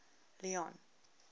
leone